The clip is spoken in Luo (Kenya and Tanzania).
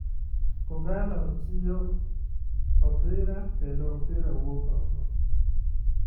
Kogallo chiyo nopira kendo opira wuok oko.